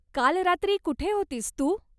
काल रात्री कुठे होतीस तू?